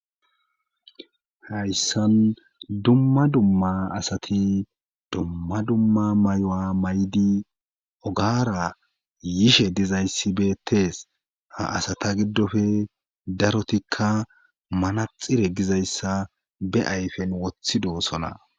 hayssan dumma dumma asati dumma dumma mayuwa maydi ogaara yishe dizayssi betees ha asata giddofe darotikka manaxire gizayssa be ayfen wothidoosona